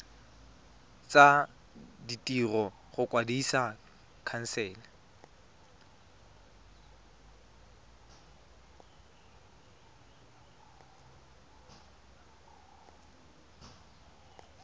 tsa ditiro go kwadisa khansele